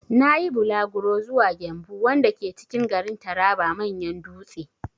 Na yi bulaguro zuwa 'Gembu' wanda ke cikin garin Taraba manyan dutse.